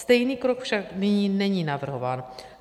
Stejný krok však nyní není navrhován.